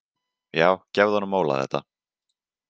Já gefðu honum Óla þetta.